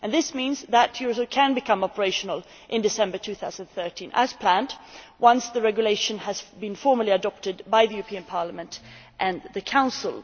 This means that Eurosur can become operational in December 2013, as planned, once the regulation has been formally adopted by the European Parliament and the Council.